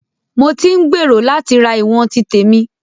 Mo tí ń gbèrò láti ra ìwọ̀n ti tèmi.